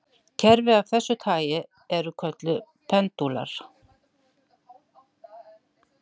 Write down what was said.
Kerfi af þessu tagi eru kölluð pendúlar.